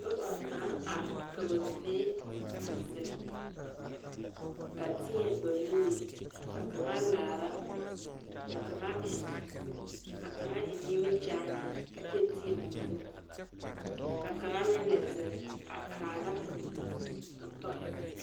Noba naŋ are ka ba mene a zeŋ a teɛ ba nuur. Ka kang laara ka kang eŋ ka kang eŋ nimikyaane a kyɛ teɛ o nu. Ka kang meŋ lɛ zeŋ a kaara o tɔ